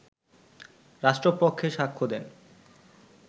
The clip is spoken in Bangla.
রাষ্ট্রপক্ষে সাক্ষ্য দেন